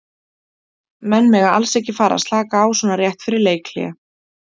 Menn mega alls ekki að fara að slaka á svona rétt fyrir leikhlé.